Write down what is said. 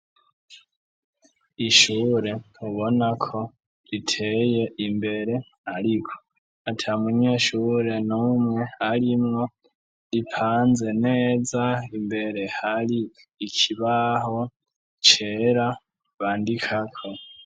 Ishure ubonako riteye imbere, ariko ata munyeshure numwe arimwo ripanze neza, mbere hari ikibaho cera bandikako.